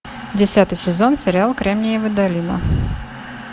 десятый сезон сериал кремниевая долина